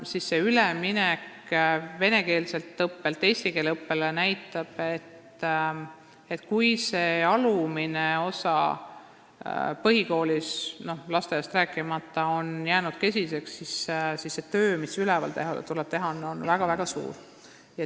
See üleminek venekeelselt õppelt eestikeelsele õppele näitab, et kui õppimine põhikoolis, lasteaiast rääkimata, on jäänud kesiseks, siis see töö, mis tuleb kõrgematel kooliastmetel teha, on väga-väga suur.